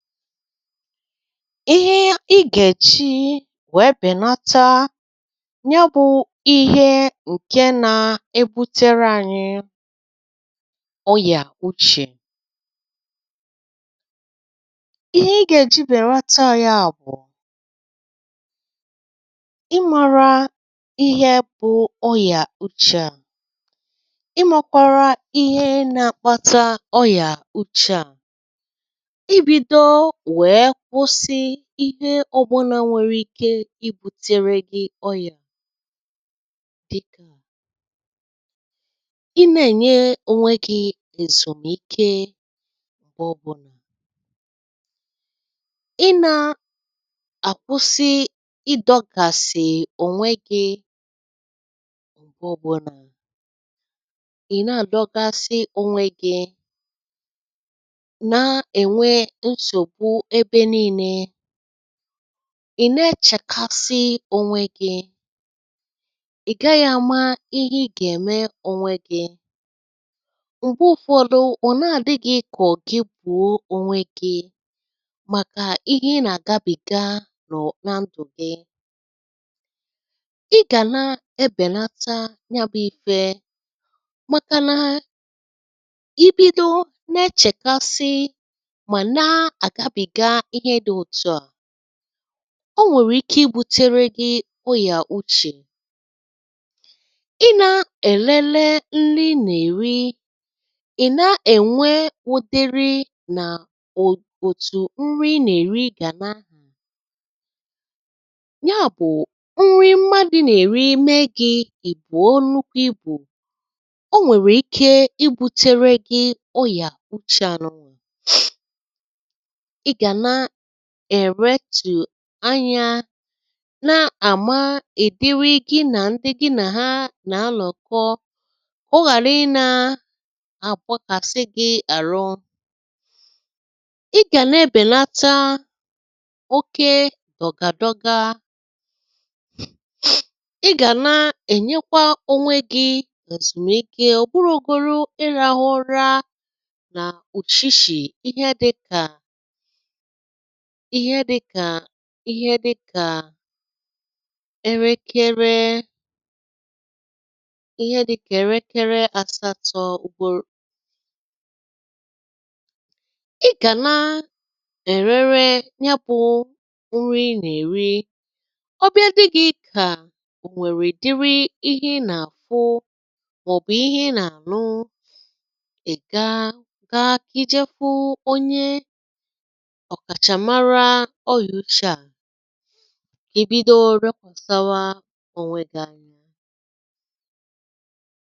Ihe ị gà-èji wèe bènata nye bụ ihe ǹke nȧ-ebutere ȧnyị̇ ọyà uchè, ihe i ga-eji berata ya bụ ị mara ihe bụ ọya uche a, ị makwara ihe na-akpata ọya uche a, ibido wee kwụsi ihe ọbụnà nwèrè ike i butere gị̀ ọyà dịkà ị na-ènye ònwe gị èzùmike mgbe ọbụnà, ị na-àkwụsị ịdọ̇gàsị̀ ònwe gị mgbe ọbụǹa, ị na-àdọgasị ònwegi̇, na-enwe nsogbu ebe n’ine. Ị nechekasị ònwe gị, ị gaghị̇ àma ihe ị gà-ème ònwe gị̇, mgbe ụfọdụ ọ̀ na-àdị gị kọ̀ gị gbùo ònwe gị̇ màkà ihe ị nà-àgabìga nọ na ndụ̀ gị. Ị gà na-ebèlata ya bụ̇ ifė maka na i bido na-echèkasị ma na-agabiga ihe di otu a, o nwèrè ike ibutere gị̇ ọyà uchè. Ị na-èlele nri nà-èri, ị na-ènwe udeiri nà òtù nri nà-èri gà n’ahì. Ya bụ̀ nri mmadụ̇ nà-èri mee gị̇ i buo nukwu ibù, o nwèrè ike i butere gị ọyà uchè a. Ị gàna erektù anyȧ na-àma ìdiri gị nà ndị gị nà ha nà-alọ̀kọ, oghàra ị nȧ-àgbakàsị gị àrụ. Ị gà na-èbèlata oke dọ̀gàdọga, ị gàna na-ènyekwa onwe gi̇ ezumịke ọ̀bụrọgoru ịrahụ ụra nà ùshishi ihe dị̇kà ihe dị̇kà ịhe dịkà erekere ihe dị̇kà erekere àsatọ ugboro. Ị gà na erere nyabụ̇ nrị ị nà-eri, ọbịa dị gị kà ò nwèrè dịrị ihe ị nà-àfụ màọ̀bụ̀ ihe ị nà-ànụ, ị̀ gaa gaa kịjefụ onye ọkàchàmara ọ́ya uche à, èbido lekwasawa onwe gị anya.